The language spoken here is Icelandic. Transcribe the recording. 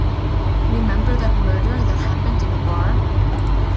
Remember that murder that happened in a bar?